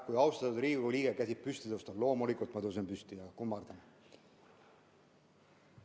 Kui austatud Riigikogu liige käsib püsti tõusta, siis loomulikult ma tõusen püsti ja kummardan.